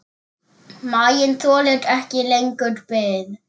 Maginn þolir ekki lengur bið.